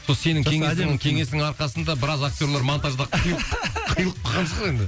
сол сенің кеңесіңнің кеңісің арқасында біраз актерлар монтаждан қиылып қиылып қалған шығар енді